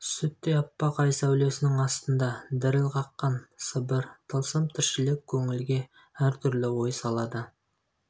сүттей аппақ ай сәулесінің астында діріл қаққан сы бір тылсым тіршілік көңілге әр түрлі салады